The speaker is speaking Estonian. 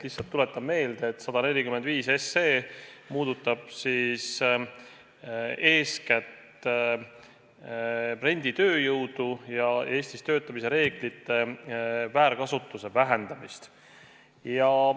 Lihtsalt tuletan meelde, et 145 puudutab eeskätt renditööjõudu ja Eestis töötamise reeglite väärkasutuse vähendamist.